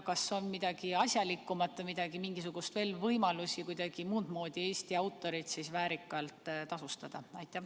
Kas on midagi asjalikumat, veel mingisuguseid võimalusi, kuidas muud moodi Eesti autoreid väärikalt tasustada?